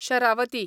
Sharavati